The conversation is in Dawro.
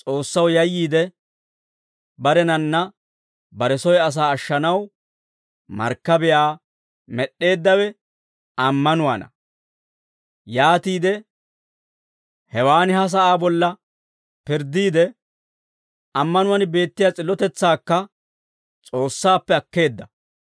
S'oossaw yayyiide, barenanne bare soy asaa ashshanaw markkabiyaa med'd'eeddawe ammanuwaana; yaatiide hewaan ha sa'aa bolla pirddiide, ammanuwaan beettiyaa s'illotetsaakka S'oossaappe akkeedda.